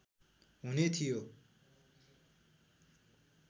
हुने थियो